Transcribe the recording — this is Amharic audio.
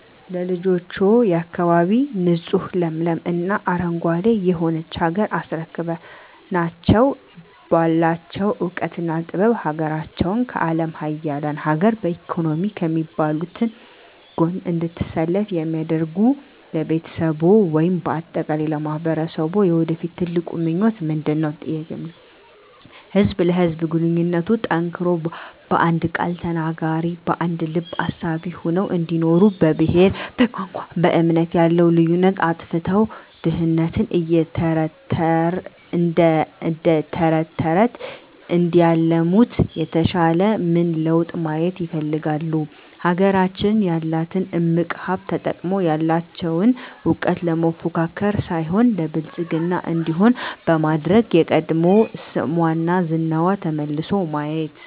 ለልጆችዎ፣ የአካባቢ ንፁህ ለምለም እና አረንጓዴ የሆነች ሀገር አስረክበናቸው ባላቸው እውቀትና ጥበብ ሀገራቸውን ከአለም ሀያላን ሀገር በኢኮኖሚ ከሚባሉት ጎን እንድትሰለፍ እንዲያደርጉ ለቤተሰብዎ ወይም በአጠቃላይ ለማህበረሰብዎ የወደፊት ትልቁ ምኞቶ ምንድነው? ህዝብ ለህዝብ ግንኙነቱ ጠንክሮ በአንድ ቃል ተናጋሪ በአንድ ልብ አሳቢ ሆነው እንዲኖሩ በብሄር በቋንቋ በእምነት ያለውን ልዩነት አጥፍተው ድህነትን እደተረተረት እንዲያለሙት የተሻለ ምን ለውጥ ማየት ይፈልጋሉ? ሀገራችን ያላትን እምቅ ሀብት ተጠቅመው ያለቸውን እውቀት ለመፎካከር ሳይሆን ለብልፅግና እንዲሆን በማድረግ የቀድሞ ስሟና ዝናዋ ተመልሶ ማየት